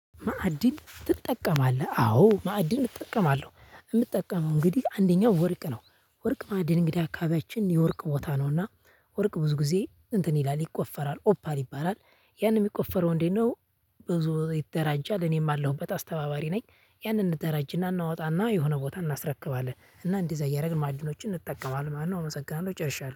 ማዕድን ትጠቀማለህ አዎ ማዕድን እጠቀማለሁ የምጠቀመው እንግዲህ አንደኛው ወርቅ ነው። ወርቅ ማዕድን እንግዲህ አካባቢያችን የወርቅ ቦታ ነውና ወርቅ ብዙ ጊዜ እንትን ይላል ይቆፈራል ኦፓል ይባላል። ያንን የሚቆፈረው እንዴት ነው? ብዙ ይደራጃል እኔም አለሁበት አስተባባሪ ነኝ። ያንን ደራጅ እናወጣና የሆነ ቦታ እናስረክባለን እና እንደዚያ እያደረግን ማዕድኖችን እንጠቀማለን ማለት ነው። እመሰግናለሁ ጨርሻለሁ